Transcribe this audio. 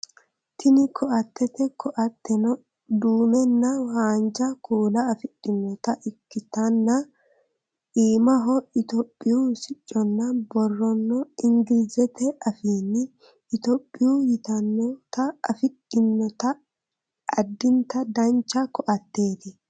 Tini ko"attete ko"atteno duumenna haanja kuula afidhinota ikkitanna iimahono itiyophiyu sicconna borrono ingilizete afiinni itiyophiya yitannota afidhinote addinta dancha ko"atteeti